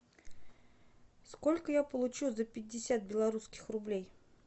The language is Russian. сколько я получу за пятьдесят белорусских рублей